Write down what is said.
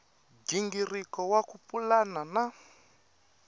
nghingiriko wa ku pulana na